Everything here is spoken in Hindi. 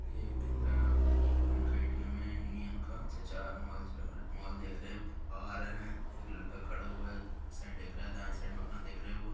ये एक केंद्र इनका ए.टी.एम है यूनियन का | चचा मोबाइल चला रहे हैं मोबाइल देख रहे हैं और आ रहे हे। एक लड़का खड़ा हुआ है। साइड देख रहा है। राइट साइड मे अपना देख रहे है वो--